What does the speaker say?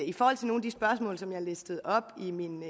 i forhold til nogle af de spørgsmål som jeg listede op i min